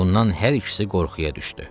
Bundan hər ikisi qorxuya düşdü.